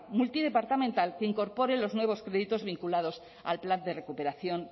multidepartamental que incorpore los nuevos proyectos vinculados al plan de recuperación